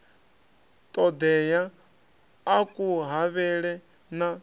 ṱoḓeaho a ku havhele na